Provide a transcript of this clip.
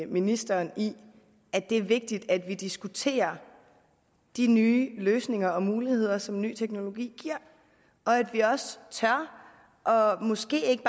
ministeren i at det er vigtigt at vi diskuterer de nye løsninger og muligheder som ny teknologi giver og at vi også tør og måske ikke